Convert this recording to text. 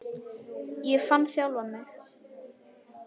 Ég fann sjálfan mig.